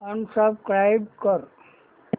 unsubscribe कर